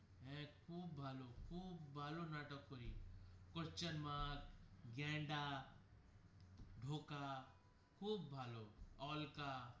হ্যা খুব ভালো খুব ভালো নাটক করে গেন্ডা ধোকা খুব ভালো all.